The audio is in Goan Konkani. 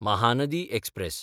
महानदी एक्सप्रॅस